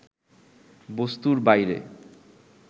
বস্তুর বাইরে